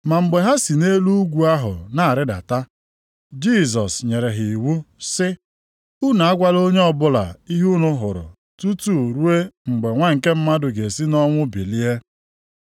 Ma mgbe ha si nʼelu ugwu ahụ na-arịdata, Jisọs nyere ha iwu, sị, “Unu agwala onye ọbụla ihe unu hụrụ tutu ruo mgbe Nwa nke Mmadụ ga-esi nʼọnwụ bilie.”